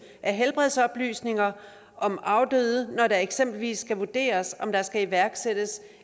af helbredsoplysninger om afdøde når det eksempelvis skal vurderes om der skal iværksættes